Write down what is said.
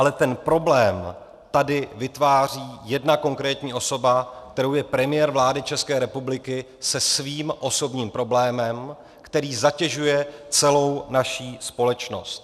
Ale ten problém tady vytváří jedna konkrétní osoba, kterou je premiér vlády České republiky se svým osobním problémem, který zatěžuje celou naši společnosti.